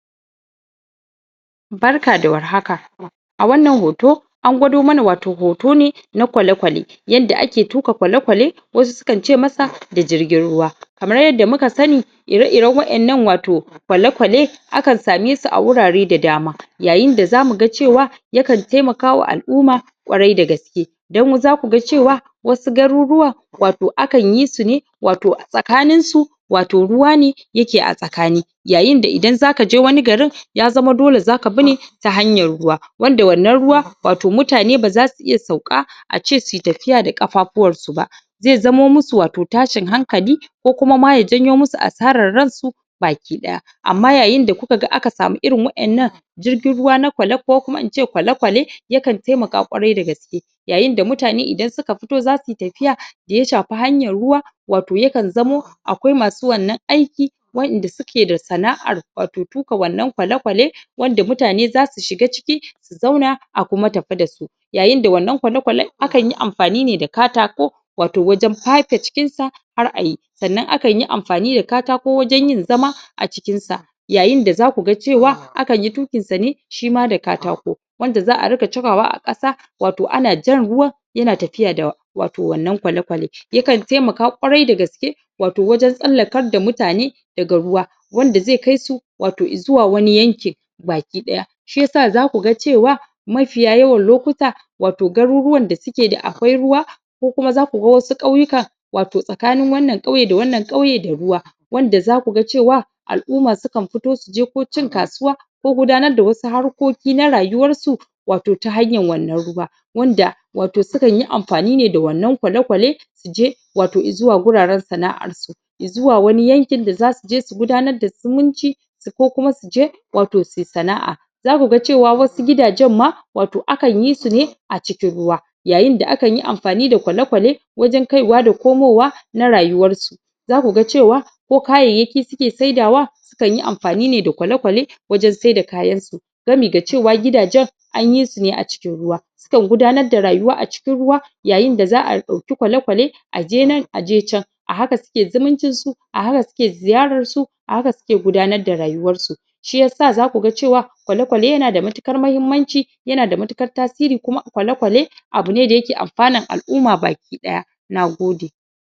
Barka da war haka a wannan hoto an gwado mana wato hoto ne na ƙwaleƙwale yanda ake tuka ƙwaleƙwale wasu su kan ce masa jirgin ruwa kamar yadda muka sani ire iren wa'ennan wato ƙwaleƙwale aakn same su a wurare da dama yayin da zamu ga cewa yakan taimaka wa al'umma ƙwarai dagaske dan zaku ga cewa wasu garurruwa wato akanyi su ne wato tsakanin su wato ruwa ne yake a tsakani yayin da idan zaka je wani garin ya zama dole zaka bi ne ta hanya ruwa wanda wannan ruwa wato mutane baza su iya sauka a ce suyi tafiya da kafafuwan su ba zai zamo musu wato tashin hankali ko kuma ya janyo musu asaran ran su baki daya amma yayin da kuka ga aka samu irin wa'ennan jirgin ruwa ko kuma ince ƙwaleƙwale yakan taimaka ƙwarai dagaske yayin da mutane idan suka fito zasuyi tafiya ya shafe hanyan ruwa wato yakan zamo akwai masu wannan aiki wa'en da suke da sana'an wato na tuka wannan ƙwaleƙwale wanda mutane zasu shiga ciki su zauna a kuma tafi dasu yayin da wannan ƙwaleƙwalen akanyi amfani da katako wato pake cikin sa har ayi sannan akan amfani da katako wajen yin zama a cikin sa yayin da zaku ga cewa akanyi tukin sa ne shima da katako wanda za'a ringa chakawa a kasa wato ana jan ruwan yana tafiya da wato wannan ƙwaleƙwalen yakan taimaka ƙwarai dagaske wato wajen tsallakar da mutane daga ruwa wanda zai kai su wato zuwa wani yankin baki daya shiyasa zaku ga cewa mafiya yawan lokuta wato garuruwan da akwai ruwa ko kuma zaku ga wasu kauyuka wato tsakanin wannan kauye da wannan kauye da ruwa wanda zaku ga cewa al'umma sukan fito su je ko cin kasuwa ko gudanar da wasu harkoki na rayuwan su wato ta hanyan wannan ruwa wanda wato su kanyi amfani ne da wannan ƙwaleƙwale su je wato zuwa guraren sana'ar su zuwa wani yankin da zasu je su gudanar da zumunci ko kuma suje wato suyi sana'a zaku ga cewa wasu gidajen ma wato akan yi su ne a cikin ruwa yayin da akanyi amfani da ƙwaleƙwale wajen kai wa da komowa na rayuwan su zaku ga cewa ko kayyayki suke sayyada wa akan yi amfani ne da ƙwaleƙwale wajen saida kayansu sabida cewa gidajen anyi sune a cikin ruwa su kan gudanar da rayuwa a cikin ruwa yayin da za'a dauki ƙwaleƙwale aje nan aje can a haka suke zumuncin su a haka suke ziyaran su a haka suke gudanar da rayuwan su shiyasa zaku ga cewa ƙwaleƙwale yana da matuƙar mahimmanci yana da matukar tasiri kuma ƙwaleƙwale abune da yake amfanan al'umma baki daya Nagode